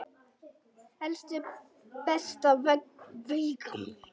Elsku besta Veiga mín.